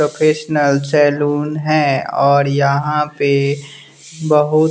professional salon है और यहां पे बहुत--